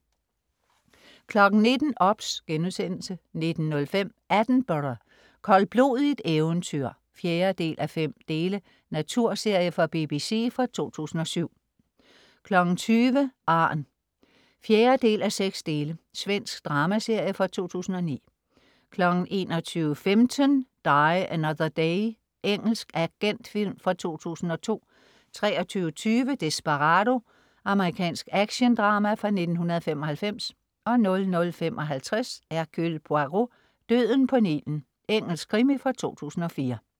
19.00 OBS* 19.05 Attenborough. Koldblodigt eventyr. 4:5 Natyrserie fra BBC fra 2007 20.00 Arn 4:6 Svensk dramaserie fra 2009 21.15 Die Another Day. Engelsk agentfilm fra 2002 23.20 Desperado. Amerikansk actiondrama fra 1995 00.55 Hercule Poirot: Døden på Nilen. Engelsk krimi fra 2004